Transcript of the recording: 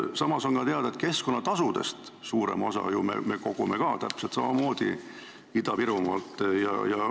Samas on ka teada, et keskkonnatasudest suurema osa me kogume täpselt samamoodi Ida-Virumaalt.